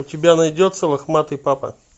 у тебя найдется лохматый папа